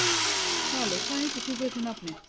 Svali, hvað heitir þú fullu nafni?